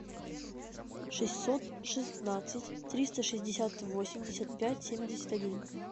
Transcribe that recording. шестьсот шестнадцать триста шестьдесят восемьдесят пять семьдесят один